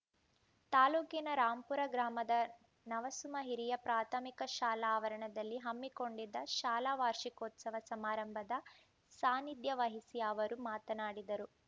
ತಾಲೂಕಿನ ರಾಂಪುರ ಗ್ರಾಮದ ನವಸುಮ ಹಿರಿಯ ಪ್ರಾಥಮಿಕ ಶಾಲಾ ಆವರಣದಲ್ಲಿ ಹಮ್ಮಿಕೊಂಡಿದ್ದ ಶಾಲಾ ವಾರ್ಷಿಕೋತ್ಸವ ಸಮಾರಂಭದ ಸಾನಿಧ್ಯವಹಿಸಿ ಅವರು ಮಾತನಾಡಿದರು